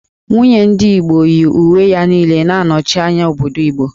Nwunye ndị Igbo yi uwe ya niile na-anọchi anya obodo Igbo